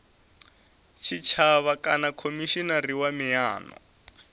tshitshavha kana khomishinari wa miano